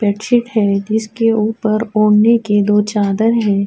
بڈشیٹ ہے جسکے اپر ودھنے کے دو چادر ہے۔